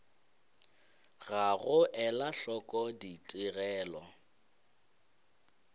ga go ela hloko ditigelo